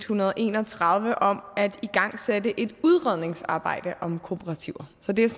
hundrede og en og tredive om at igangsætte et udredningsarbejde om kooperativer så det er